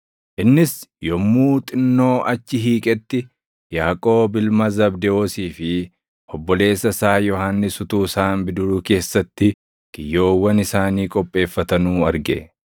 Innis yommuu xinnoo achi hiiqetti Yaaqoob ilma Zabdewoosii fi obboleessa isaa Yohannis utuu isaan bidiruu keessatti kiyyoowwan isaanii qopheeffatanuu arge.